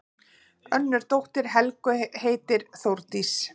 Önnur dóttir Helgu heitir Þórdís.